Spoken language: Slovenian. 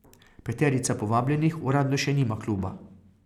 Peterica povabljenih uradno še nima kluba.